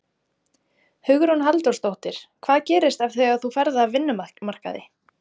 Hugrún Halldórsdóttir: Hvað gerist þegar þú ferð af vinnumarkaði?